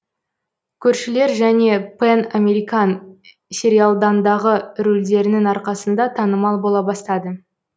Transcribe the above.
көршілер және пэн американ сериалдандағы рөлдерінің арқасында танымал бола бастады